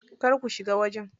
Kar ku shiga wajen.